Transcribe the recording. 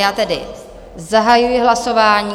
Já tedy zahajuji hlasování.